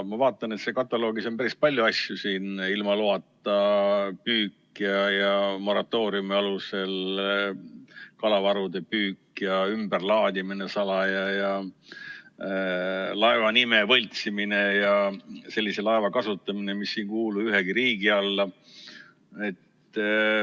Ma vaatan, et seal kataloogis on päris palju asju: ilma loata püük, moratooriumi alusel kalavarude püük ja ümberlaadimine salaja, laeva nime võltsimine ja sellise laeva kasutamine, mis ei kuulu ühegi riigi alla.